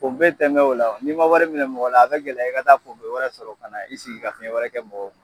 Pɔnpe tɛ mɛn o la, ni'i ma wari minɛ mɔgɔ la, a bɛ gɛlɛya i ka t t'a pɔnpe wɛrɛ sɔrɔ ka na i sigi ka fiɲɛ wɛrɛ kɛ mɔgɔ kun.